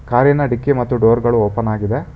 ಕಾರಿನ ಡಿಕ್ಕಿ ಮತ್ತು ಡೋರ್ ಗಳು ಓಪನ್ ಆಗಿದೆ.